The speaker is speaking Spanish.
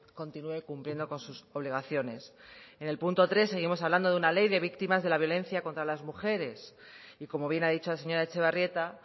continúe cumpliendo con sus obligaciones en el punto tres seguimos hablando de una ley de víctimas de la violencia contra las mujeres y como bien ha dicho la señora etxebarrieta